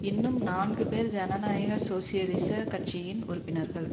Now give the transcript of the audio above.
இன்னும் நான்கு பேர் ஜனநாயக சோசியலிச கட்சியின் உறுப்பினர்கள்